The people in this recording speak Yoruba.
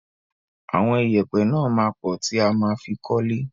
Àwọn ìyẹ̀pẹ̀ náà máa pọ̀ tí a ma fi kọ́lé.